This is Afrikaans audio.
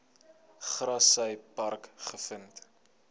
grassy park gevind